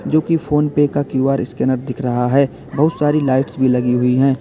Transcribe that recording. जो की फोनपे का क्यू_आर स्कैनर दिख रहा है बहुत सारी लाइट्स भी लगी हुई है।